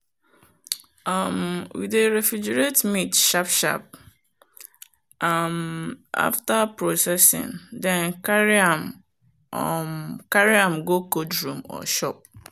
um we dey refrigerate meat sharp-sharp um after processing then carry um am go cold room or shop.